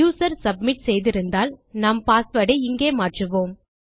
user submit செய்திருந்தால் நாம் password ஐ இங்கே மாற்றுவோம்